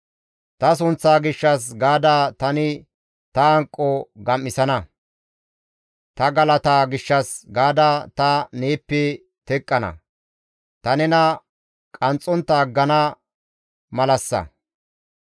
«Ta sunththaa gishshas gaada tani ta hanqo gam7isana; ta galata gishshas gaada ta neeppe teqqana; ta nena qanxxontta aggana malassa.